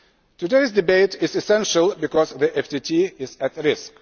Today's debate is essential because the FTT is at risk.